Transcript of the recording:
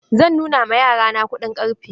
Zan nuna ma yara na kuɗin ƙarfe.